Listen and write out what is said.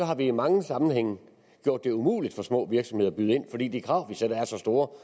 har vi i mange sammenhænge gjort det umuligt for små virksomheder at byde ind fordi de krav vi stiller er så store